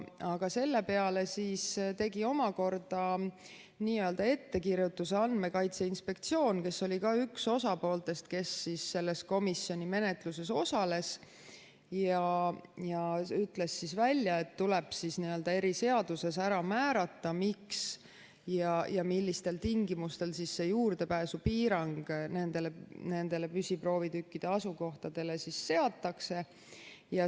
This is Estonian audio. Aga selle peale tegi omakorda n‑ö ettekirjutuse Andmekaitse Inspektsioon, kes oli ka üks osapooltest, kes selles komisjoni menetluses osales, ja ütles välja, et tuleb eriseaduses ära määrata, miks ja millistel tingimustel juurdepääsupiirang nendele püsiproovitükkide asukohtadele seatakse.